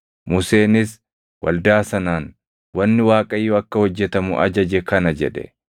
Museenis waldaa sanaan, “Wanni Waaqayyo akka hojjetamu ajaje kana” jedhe.